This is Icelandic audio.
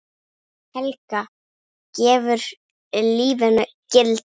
Helga: Gefur lífinu gildi?